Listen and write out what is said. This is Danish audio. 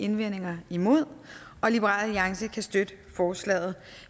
indvendinger imod og liberal alliance kan støtte forslaget